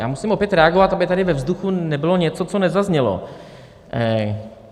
Já musím opět reagovat, aby tady ve vzduchu nebylo něco, co nezaznělo.